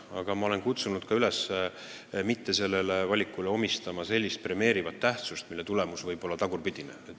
Aga ma olen kutsunud üles mitte omistama sellele valikule sellist premeerivat tähendust, mille tulemus võib olla tagurpidine.